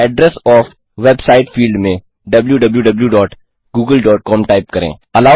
address of website field में wwwgooglecom type करें